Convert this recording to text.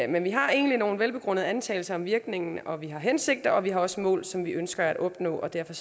men vi har egentlig nogle velbegrundede antagelser om virkningen og vi har hensigter og vi har også mål som vi ønsker at opnå og derfor